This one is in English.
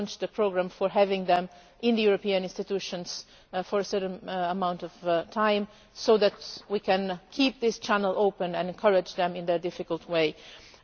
We have launched a programme for having them in the European institutions for a certain amount of time, so that we can keep this channel open and encourage them on their difficult path.